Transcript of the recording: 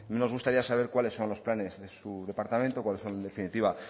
nos gustaría saber cuáles son los planes de su departamento cuáles son en definitiva